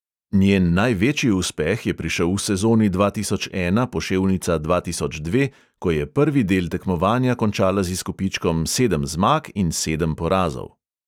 Njen največji uspeh je prišel v sezoni dva tisoč ena poševnica dva tisoč dve, ko je prvi del tekmovanja končala z izkupičkom sedem zmag in sedem porazov.